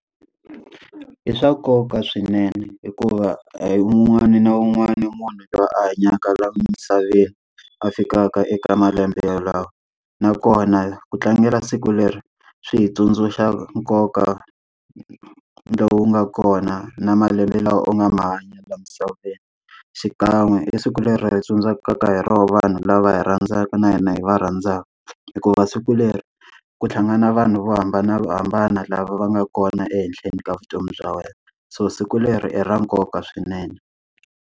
I swa nkoka swinene hikuva a hi un'wana na un'wana u munhu loyi a hanyaka laha misaveni a fikaka eka malembe yalawo. Nakona ku tlangela siku leri swi hi tsundzuxa nkoka lowu nga kona na malembe lawa u nga ma hanya laha misaveni, xikan'we i siku leri hi tsundzukaka hi rona vanhu lava hi rhandzaka na hina hi va rhandzaka. Hikuva siku leri ku tlhangana vanhu vo hambanahambana lava va nga kona ehenhleni ka vutomi bya wena. So siku leri i ra nkoka swinene.